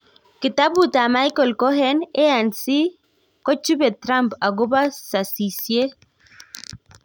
Kitabut ap Micheal Cohen, ANC kojupe Trump agope sasiyiet.